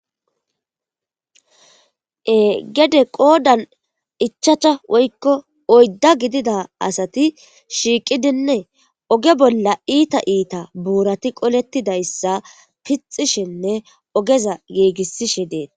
Egede qoodan ichacha woykko oydda gidida asati shiiqidinne oge bolla iita iita buurati qolettidayssa pixishenne ogeza giigisishe deet.